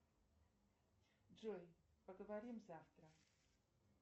джой поговорим завтра